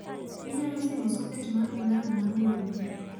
Inyalo simo soket mar plag mar wemo